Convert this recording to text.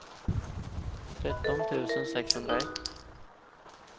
tretton tusen sexhundraett